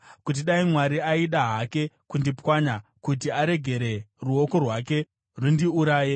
kuti dai Mwari aida hake kundipwanya, kuti aregere ruoko rwake rundiuraye!